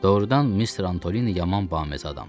Doğrudan Mister Antolini yaman baməzə adamdır.